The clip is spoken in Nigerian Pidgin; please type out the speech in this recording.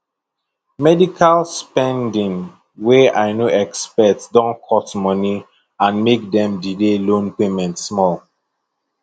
medical spending wey i no expect don cut money and make dem delay loan payment small